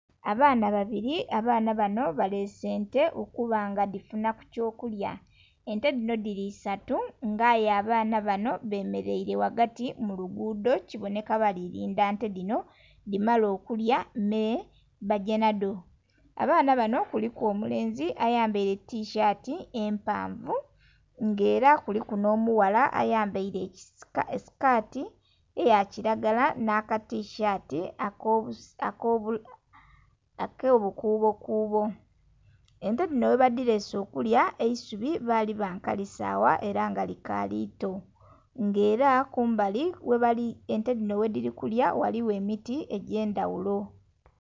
Abaana babiri abaana banho balese ente okuba nga dhifuna ku kyo kulya ente dhino dhili isatu nga aye abaana banho bemereire ghagati mul lugudho kibonheka kibonheka bali kondha ente dhino dhimale okulya mee bagye nhadho. Abaana banho kuliku omulenzi ayambaire tisaati empavu nga era kuliku nho mughala ayambaire esikati eya kilagala nha ka tisaati ako bukubo kubo. Ente dhino ghe badhilese okulya bali ba kali sagha era nga likali ito nga era kumbali ghebali, ente dhino ghe dhili kulya ghaligho emiti egya ndhaghulo.